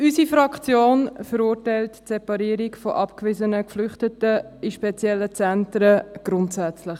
Unsere Fraktion verurteilt die Separierung von abgewiesenen Geflüchteten in spezielle Zentren grundsätzlich.